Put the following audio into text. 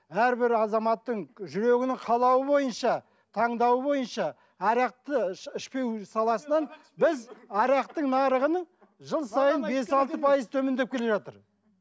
әрбір азаматтың жүрегінің қалауы бойынша таңдауы бойынша арақты ішпеу саласынан біз арақтың нарығының жыл сайын бес алты пайыз төмендеп келе жатыр